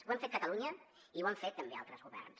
ho hem fet catalunya i ho han fet també altres governs